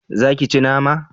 Za ki ci nama?